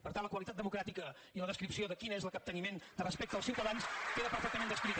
per tant la qualitat democràtica i la descripció de quin és el capteniment de respecte als ciutadans queda perfectament descrita